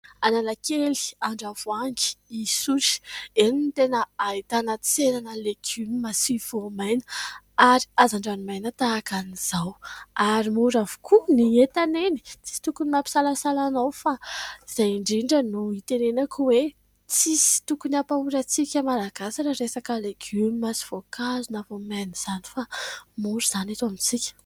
Analakely, Andravoahangy, Isotry ; eny no tena ahitana tsena legioma sy voamaina, ary hazandrano maina tahaka izao. Ary mora avokoa ny entana eny. Tsy misy tokony mampisalasala anao, fa izay indrindra no itenenako hoe : tsy misy tokony hampahory antsika Malagasy raha resaka legioma sy voankazo na voamaina izany, fa mora izany eto amintsika.